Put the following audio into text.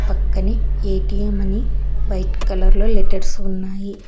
పక్కనే ఏ_టీ_యమ్ అని వైట్ కలర్లో లెటర్స్ ఉన్నాయి.